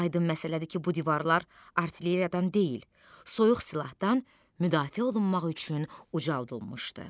Aydın məsələdir ki, bu divarlar artilleriyadan deyil, soyuq silahdan müdafiə olunmaq üçün ucaldılmışdı.